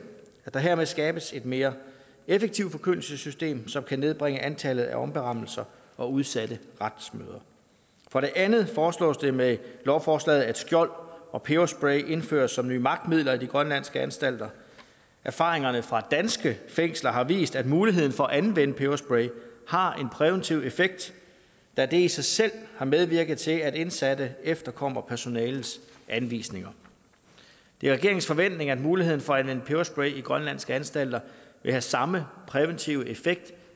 at der hermed skabes et mere effektivt forkyndelsessystem som kan nedbringe antallet af omberammelser og udsatte retsmøder for det andet foreslås det med lovforslaget at skjold og peberspray indføres som nye magtmidler i de grønlandske anstalter erfaringerne fra danske fængsler har vist at muligheden for at anvende peberspray har en præventiv effekt da det i sig selv har medvirket til at indsatte efterkommer personalets anvisninger det er regeringens forventning at muligheden for at anvende peberspray i grønlandske anstalter vil have samme præventive effekt